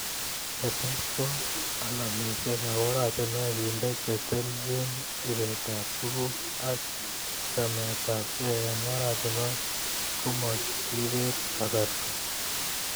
Ketes ko alamisiekab oratinwek kende che telchin ibetap tuguk ak chametabkei eng oratinwek komo kibet kasarta